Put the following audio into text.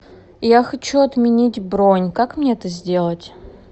я хочу отменить бронь как мне это сделать